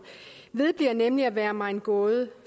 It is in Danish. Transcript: vedbliver nemlig at være mig en gåde